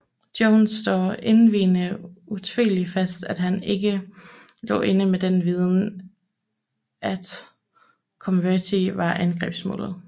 Jones slår endvidere utvetydigt fast at han ikke lå inde med den viden at Coventry var angrebsmålet